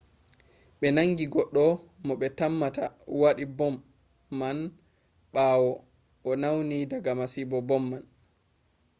ɓe nangi goɗɗo mo ɓe tammata waɗi bom man umma ɓawo o nauni diga masibo bom man